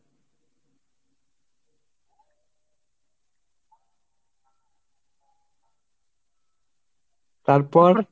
তারপর